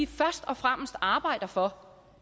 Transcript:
først og fremmest arbejder for